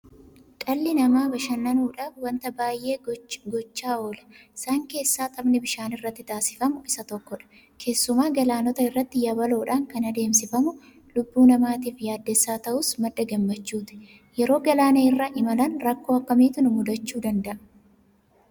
Dhalli namaa bashannanuudhaaf waanta baay'ee gochaa oola. Isaan keessaa taphni bishaan irratti taasifamu isa tokkodha. Keessumaa galaanota irratti yabaloodhaan kan adeemsifamu lubbuu namaatiif yaaddessaa ta'us madda gammachuuti. Yeroo galaana irra imalan rakkoo akkamiitu nu mudachuu danda'a?